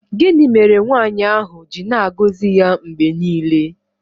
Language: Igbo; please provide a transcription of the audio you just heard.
Gịnị mere nwaanyị ahụ ji na-agọzi ya mgbe niile?